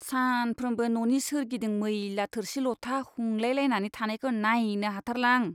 सानफ्रोमबो न'नि सोरगिदिं मैला थोरसि लथा हुंलायलायनानै थानायखौ नायनो हाथारला आं।